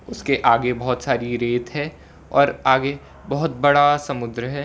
उसके आगे बहुत सारी रेत है और आगे बहुत बड़ा समुद्र है।